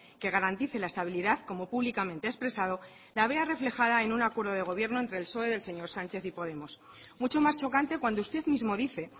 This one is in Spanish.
que garantice la estabilidad como públicamente ha expresado la vea reflejada en un acuerdo de gobierno entre el psoe del señor sánchez y podemos mucho más chocante cuando usted mismo dice